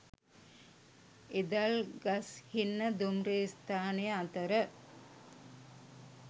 ඉදල්ගස්හින්න දුම්රිය ස්ථානය අතර